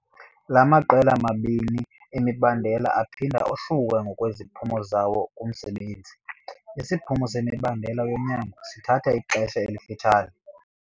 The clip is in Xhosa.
La maqela mabini emibandela aphinda ohluke ngokweziphumo zawo kumsebenzi. Isiphumo semibandela yonyango sithatha ixesha elifitshane.